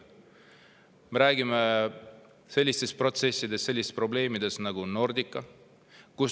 Me räägime sellistest protsessidest, probleemidest nagu Nordica.